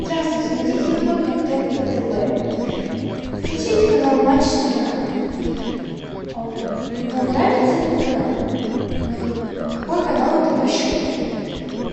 здравствуйте найдите любой контент по тв включите канал матч страна вам нравится этот канал какой канал это по счету